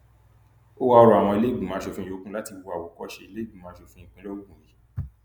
o wáá rọ àwọn ìlẹgbẹmọ asòfin yòókù láti wo àwòkọṣe ìlẹẹgbìmọ asòfin ìpínlẹ ogun yìí